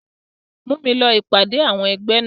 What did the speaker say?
Mú mi lọ ìpàdé àwọn ẹgbẹ́ náà.